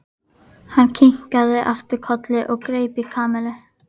Hann kinkaði aftur kolli og greip í Kamillu.